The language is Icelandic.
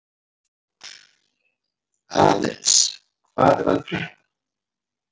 Aðils, hvað er að frétta?